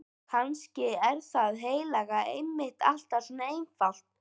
Kannski er það heilaga einmitt alltaf svo einfalt.